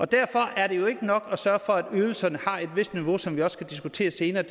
derfor er det jo ikke nok at sørge for at ydelserne har et vist niveau som vi også skal diskutere senere